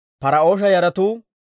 Par"oosha yaratuu 2,172.